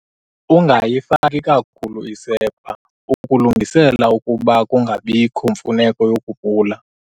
Ungayifaki kakhulu isepha, ukulungisela ukuba kungabiko mfuneko yokupula.